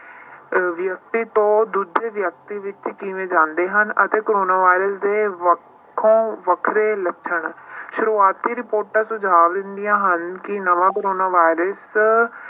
ਅਹ ਵਿਅਕਤੀ ਤੋਂ ਦੂਜੇ ਵਿਅਕਤੀ ਵਿੱਚ ਕਿਵੇਂ ਜਾਂਦੇ ਹਨ ਅਤੇ ਕੋਰੋਨਾ ਵਾਇਰਸ ਦੇ ਵੱਖੋ ਵੱਖਰੇ ਲੱਛਣ ਸ਼ੁਰੂਆਤੀ ਰਿਪੋਰਟਾਂ ਸੁਝਾਵ ਦਿੰਦੀਆਂ ਹਨ ਕਿ ਨਵਾਂ ਕੋਰੋਨਾ ਵਾਇਰਸ